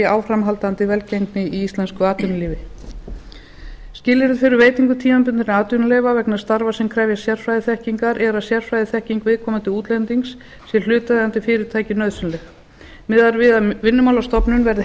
áframhaldandi velgengni í íslensku atvinnulífi skilyrði fyrir veitingu tímabundinna atvinnuleyfa vegna starfa sem krefjast sérfræðiþekkingar er að sérfræðiþekking viðkomandi útlendings sé hlutaðeigandi fyrirtæki nauðsynleg miðað er við að vinnumálastofnun verði heimild